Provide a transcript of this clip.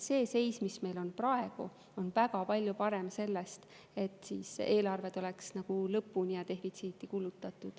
See seis, mis meil on praegu, on väga palju parem sellest, et eelarve tuleks lõpuni ja defitsiiti kulutada.